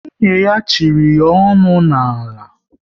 Nwunye ya chịrị ya onu n'ala